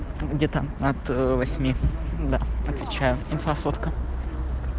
где-то от восьми да отвечаю инфа сотка